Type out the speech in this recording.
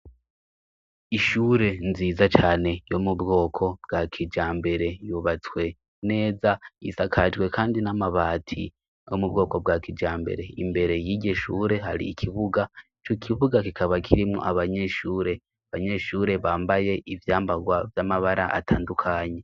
Ishure nziza cane yo mu bwoko bwa kija mbere yubatswe neza yisakajwe, kandi n'amabati yo mu bwoko bwa kija mbere imbere y'igishure hari ikibuga co ikibuga kikaba kirimwo abanyeshure abanyeshure bambaye ivyambarwa vy'amabara atandukanyi.